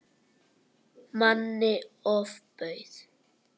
Manni ofbauð.